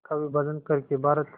का विभाजन कर के भारत